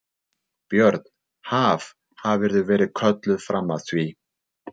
Björn: Haf, hafðirðu verið kölluð fram að því?